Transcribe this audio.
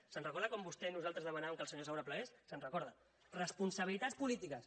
se’n recorda quan vostè i nosaltres demanàvem que el senyor saura plegués se’n recorda responsabilitats polítiques